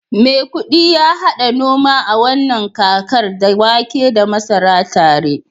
maikudi ya hada noma a wannan kakar, da wake da masara tare